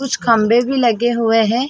कुछ खम्भे भी लगे हुए है।